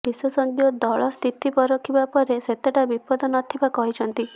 ବିଶେଷଜ୍ଞ ଦଳ ସ୍ଥିତି ପରଖିବା ପରେ ସେତେଟା ବିପଦ ନଥିବା କହିଛନ୍ତି